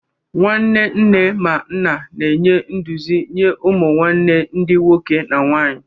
Nwanne nne ma nna na-enye nduzi nye ụmụ nwanne ndi nwoke na nwanyi.